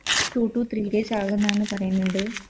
Two to three days ആവുന്നാണ് പറയുന്ന്ണ്ട്